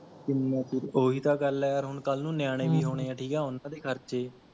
ਓਹੀ ਤਾਂ ਗੱਲ ਹੈ ਯਾਰ ਹੁਣ ਕੱਲ ਨੂੰ ਨਿਆਣੇ ਵੀ ਹੋਨੇ ਹੈ ਠੀਕ ਹੈ ਉਹਨਾਂ ਦੇ ਖਰਚੇ